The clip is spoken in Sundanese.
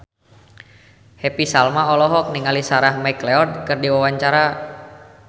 Happy Salma olohok ningali Sarah McLeod keur diwawancara